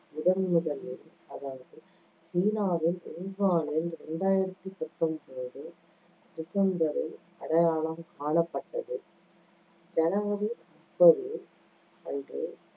முதன்முதலில் அதாவது சீனாவின் வூகானில் இரண்டாயிரத்தி பத்தொன்பது டிசம்பரில் அடையாளம் காணப்பட்டது. ஜனவரி முப்பது அன்று